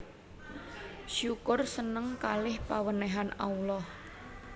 Syukur seneng kaleh pawenehan Allah